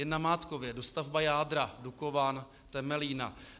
Jen namátkově - dostavba jádra Dukovan, Temelína.